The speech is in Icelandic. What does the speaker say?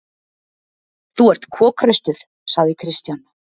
Þú ert kokhraustur, sagði Christian.